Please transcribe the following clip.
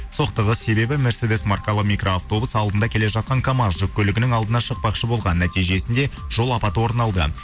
соқтығыс себебі мерседес маркалы микроавтобус алдында келе жатқан камаз жүк көлігінің алдына шықпақшы болған нәтижесінде жолапаты орын алды